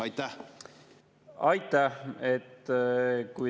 Aitäh!